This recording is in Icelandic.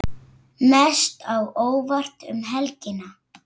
Mest á óvart um helgina?